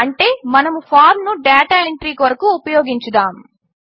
అంటే మనము ఫార్మ్ ను డేటా ఎంట్రీ కొరకు ఉపయోగించుదాము